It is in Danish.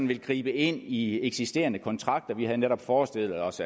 vil gribe ind i eksisterende kontrakter vi havde netop forestillet os